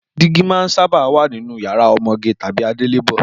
Dígí máa ń sábà wà nínú yàrá ọmọge tàbí adélébọ̀